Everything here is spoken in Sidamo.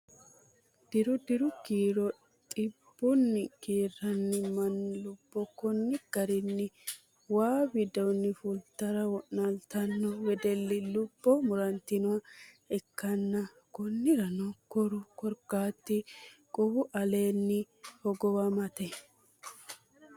diru diru kiiro xibbunni kiiranniti mannu lubbo konni garinni waa widoonni fultara wo'naaltanno wedelli lubbo murantannoha ikkanna , konnirano koru korkaati quwu aleenni hogowamate.